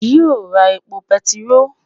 yio ra epo bẹntiroolu?